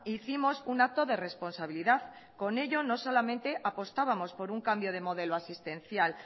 hicimos un acto de responsabilidad con ello no solamente apostábamos por un cambio de modelo asistencial